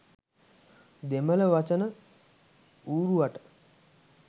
දෙමළ වචන ඌරුවට